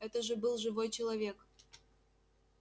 это же был живой человек